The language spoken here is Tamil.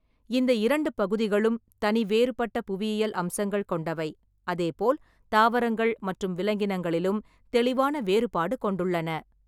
இந்த இரண்டு பகுதிகளும் தனிவேறுபட்ட புவியியல் அம்சங்கள் கொண்டவை, அதேபோல் தாவரங்கள் மற்றும் விலங்கினங்களிலும் தெளிவான வேறுபாடு கொண்டுள்ளன.